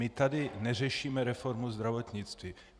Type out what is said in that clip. My tady neřešíme reformu zdravotnictví.